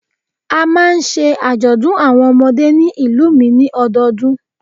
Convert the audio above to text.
A máa ń ṣe àjọ̀dún àwọn ọmọdé ní ìlú mi ni ọdọọdún